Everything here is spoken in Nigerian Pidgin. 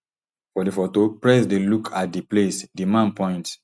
for di foto prez dey look at di place di man point